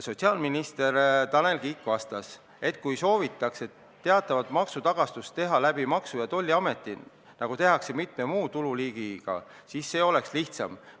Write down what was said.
Tanel Kiik vastas, et kui soovitakse teatavat maksutagastust teha läbi Maksu- ja Tolliameti, nagu tehakse mitme muu tululiigiga, siis see oleks lihtsam.